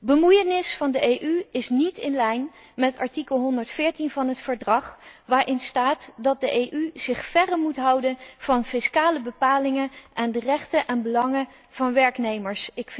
Bemoeienis van de EU is niet in lijn met artikel 114 van het Verdrag, waarin staat dat de EU zich ver moet houden van fiscale bepalingen en de rechten en belangen van werknemers.